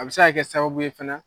A bɛ se ka kɛ sababu ye fɛna.